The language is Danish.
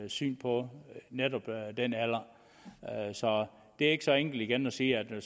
syn på netop den alder så det er ikke så enkelt igen at sige at den